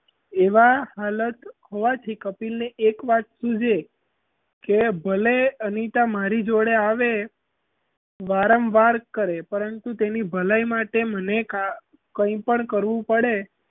એવાં હાલત હોવાથી કપિલને એક વાત સુજ કે ભલે અનિતા મારી જોડે આવે વારંવાર કરે પરંતુ તેની ભલાઈ માટે મને કઇં પણ કરવું પડે,